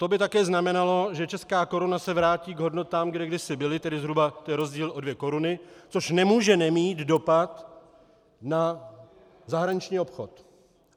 To by také znamenalo, že česká koruna se vrátí k hodnotám, kde kdysi byly, tedy zhruba to je rozdíl o dvě koruny, což nemůže nemít dopad na zahraniční obchod.